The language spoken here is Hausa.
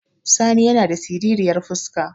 Sani yana da siriryar fuska